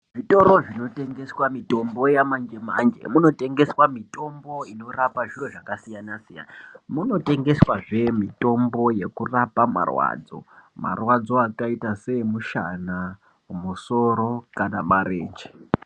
Zvitoro zvino tengeswa mitombo ya manje manje muno tengeswa mitombo inorapa zviro zvaka siyana siyana muno tengeswa zve mitombo yeku rapa marwadzo marwadzo akaita se emushana ku musoro kana marenje.